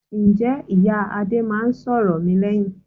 Ǹjẹ́ ìyá Adé máa ń sọ̀rọ̀ mi lẹ́yìn?